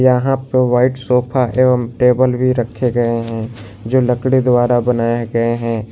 यहां पे white sofa एवं टेबल भी रखे गए हैं जो लकड़ी द्वारा बनाए गए हैं।